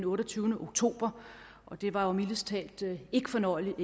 otteogtyvende oktober og det var jo mildest talt ikke fornøjeligt og